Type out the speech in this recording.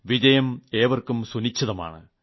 വിജയം ഏവർക്കും സുനിശ്ചിതമാണ്